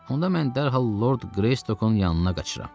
Onda mən dərhal Lord Qreystokun yanına qaçıram.